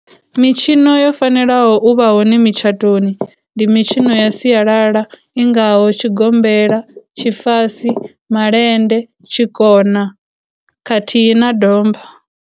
Mitshino yo fanelaho uvha hone mitshatoni, ndi mitshino ya sialala i ngaho tshigombela tshifasi, malende, tshikona, khathihi na domba.